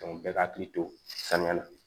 bɛɛ ka hakili to saniya la